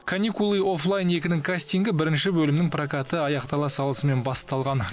каникулы оффлайн екі нің кастингі бірінші бөлімнің прокаты аяқтала салысымен басталған